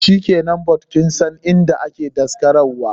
Shikenan, but kinsan inda ake daskarar wa?